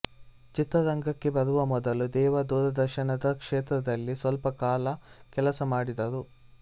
ಚಿತ್ರರಂಗಕ್ಕೆ ಬರುವ ಮೊದಲು ದೇವಾ ದೂರದರ್ಶನ ಕ್ಷೇತ್ರದಲ್ಲಿ ಸ್ವಲ್ಪ ಕಾಲ ಕೆಲಸ ಮಾಡಿದರು